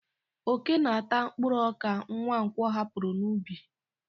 Ókè na-ata mkpụrụ ọka Nwankwo hapụrụ n'ubi.